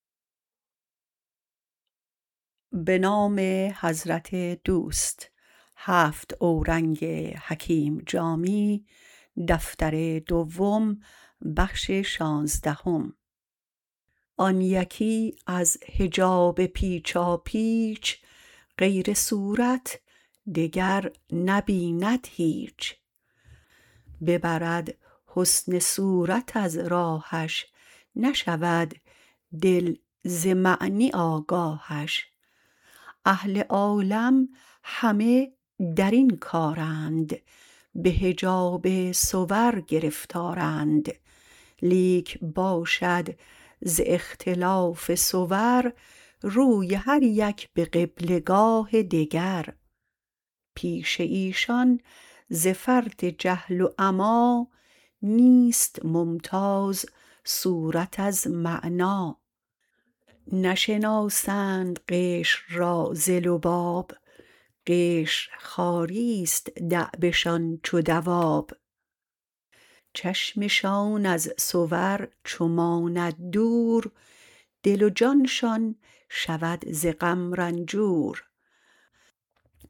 آن یکی از حجاب پیچاپیچ غیر صورت دگر نبیند هیچ ببرد حسن صورت از راهش نشود دل ز معنی آگاهش اهل عالم همه درین کارند به حجاب صور گرفتارند لیک باشد ز اختلاف صور روی هر یک به قبله گاه دگر پیش ایشان ز فرط جهل و عمی نیست ممتاز صورت از معنی نشناسند قشر را ز لباب قشر خواریست دأبشان چو دواب چشمشان از صور چو ماند دور دل و جانشان شود ز غم رنجور